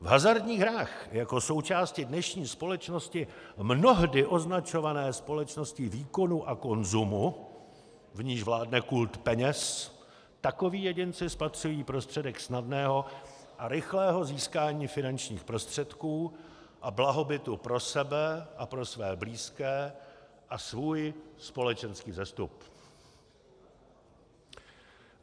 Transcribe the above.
V hazardních hrách, jako součásti dnešní společnosti mnohdy označované společností výkonu a konzumu, v níž vládne kult peněz, takoví jedinci spatřují prostředek snadného a rychlého získání finančních prostředků a blahobytu pro sebe a pro své blízké a svůj společenský vzestup.